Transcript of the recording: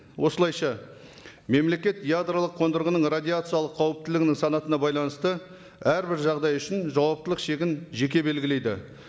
осылайша мемлекет ядролық қондырғының радиациялық қауіптілігінің санатына байланысты әрбір жағдай үшін жауаптылық шегін жеке белгілейді